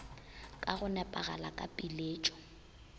ka go nepagala ka piletšo